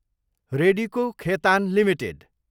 Radico Khaitan Ltd